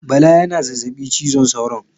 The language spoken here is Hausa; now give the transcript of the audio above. Bala yana zazzabi cizon sauron